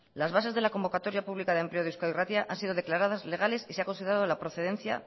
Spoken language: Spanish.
las bases de la convocatoria pública de empleo de euskadi irratia han sido declaradas legales y se ha considerado la procedencia